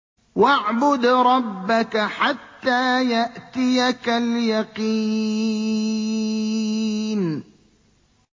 وَاعْبُدْ رَبَّكَ حَتَّىٰ يَأْتِيَكَ الْيَقِينُ